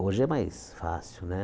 Hoje é mais fácil, né?